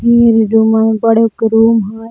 ई वला रूमा बड़ेगो रूम है।